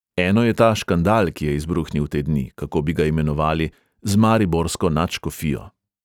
Eno je ta škandal, ki je izbruhnil te dni, kako bi ga imenovali, z mariborsko nadškofijo.